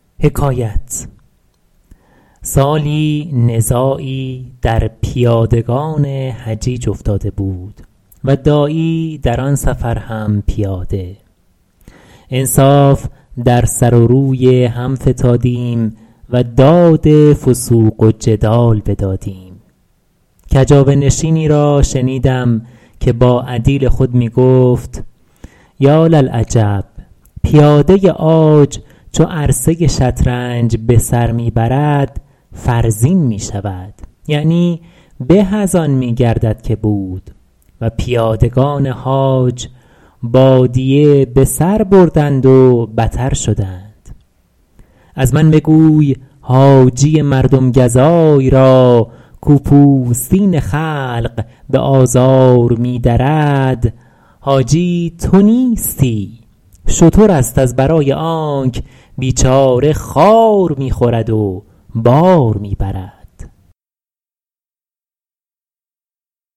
سالی نزاعی در پیادگان حجیج افتاده بود و داعی در آن سفر هم پیاده انصاف در سر و روی هم فتادیم و داد فسوق و جدال بدادیم کجاوه نشینی را شنیدم که با عدیل خود می گفت یاللعجب پیاده عاج چو عرصه شطرنج به سر می برد فرزین می شود یعنی به از آن می گردد که بود و پیادگان حاج بادیه به سر بردند و بتر شدند از من بگوی حاجی مردم گزای را کاو پوستین خلق به آزار می درد حاجی تو نیستی شتر است از برای آنک بیچاره خار می خورد و بار می برد